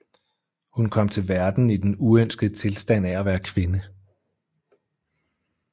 Hun kom til verden i den uønskede tilstand af at være kvinde